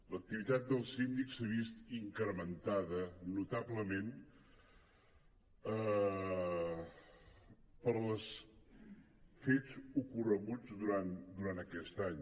l’activitat del síndic s’ha vist incrementada notablement pels fets ocorreguts durant aquest any